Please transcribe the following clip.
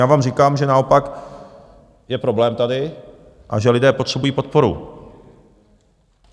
Já vám říkám, že naopak je problém tady a že lidé potřebují podporu.